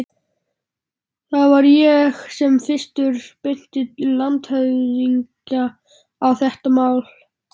Það var ég sem fyrstur benti landshöfðingja á þetta mál.